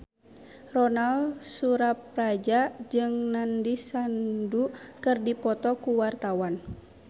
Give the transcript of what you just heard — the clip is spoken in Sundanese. Ronal Surapradja jeung Nandish Sandhu keur dipoto ku wartawan